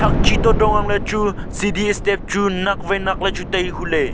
che to dong angle chu cd step chu nak vai nak le chu tai hule.